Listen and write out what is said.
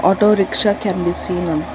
autorickshaw can be seen on--